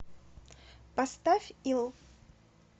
поставь ил